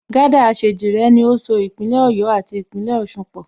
Gásà Àṣèjìrẹ́ ni ó so Ìpínlẹ̀ Ọ̀yọ́ àti Ìpínlẹ̀ Ọ̀sun pọ̀